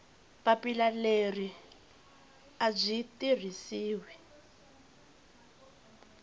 papila leri a byi tirhisiwi